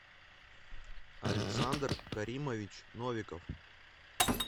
александр каримович новиков